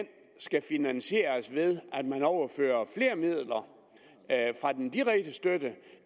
skal finansieres ved at man overfører flere midler fra den direkte støtte